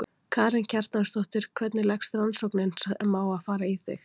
Karen Kjartansdóttir: Hvernig leggst rannsóknin sem á að fara í þig?